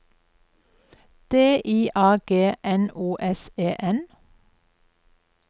D I A G N O S E N